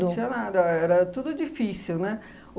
Não tinha nada, era tudo difícil, né?